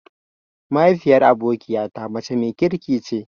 Mahaifiyar abokiya ta mace mai kirki ce.